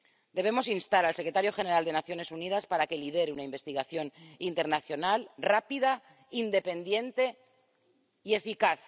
Debemos instar al secretario general de las Naciones Unidas a que lidere una investigación internacional rápida, independiente y eficaz.